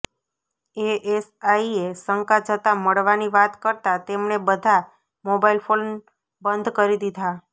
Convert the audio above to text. Asia શંકા જતાં મળવાની વાત કરતાં તેમણે બધા મોબાઇલ ફોન બંધ કરી દીધા